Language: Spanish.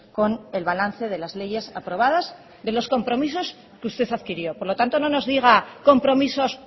con el balance de las leyes aprobadas de los compromisos que usted adquirió por lo tanto no nos diga compromisos